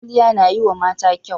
Kwalliya na yiwa mata kyau.